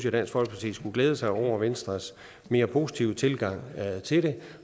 at dansk folkeparti skulle glæde sig over venstres mere positive tilgang til det